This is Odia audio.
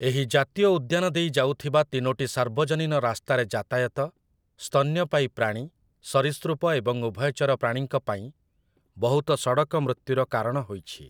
ଏହି ଜାତୀୟ ଉଦ୍ୟାନ ଦେଇ ଯାଉଥିବା ତିନୋଟି ସାର୍ବଜନୀନ ରାସ୍ତାରେ ଯାତାୟାତ, ସ୍ତନ୍ୟପାୟୀ ପ୍ରାଣୀ, ସରୀସୃପ ଏବଂ ଉଭୟଚର ପ୍ରାଣୀଙ୍କ ପାଇଁ ବହୁତ ସଡ଼କମୃତ୍ୟୁର କାରଣ ହୋଇଛି ।